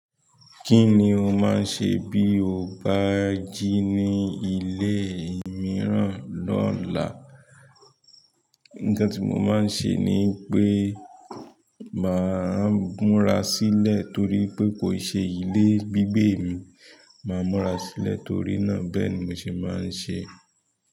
Kí ni o máa ń ṣe bí o bá jí ní ilé mìíràn lọ́la? Ǹkan tí mo máa ń ṣe ni pé màa múra sílẹ̀ torí wipé kò ṣe ilé gbígbé mi. Màa múra sílẹ̀ torí náà. Bẹ́ẹ̀ni mo se maa n se.